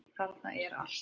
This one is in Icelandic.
Þarna er allt.